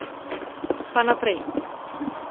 Pa naprej.